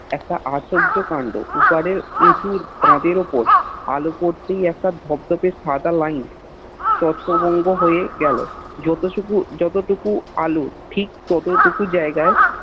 একটা আশ্চর্য কান্ড ওপারে এটুর কাদের ওপর আলো পড়তেই একটা ধপধপে সাদা Line ছত্র বঙ্গ হয়ে গেল যতটুকু যতটুকু আলোর ঠিক ততটুকু জায়গায়